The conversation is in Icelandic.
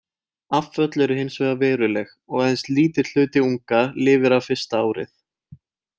Afföll eru hins vegar veruleg og aðeins lítill hluti unga lifir af fyrsta árið.